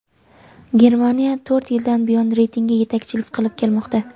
Germaniya to‘rt yildan buyon reytingda yetakchilik qilib kelmoqda.